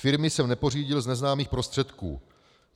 Firmy jsem nepořídil z neznámých prostředků.